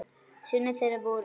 Synir þeirra voru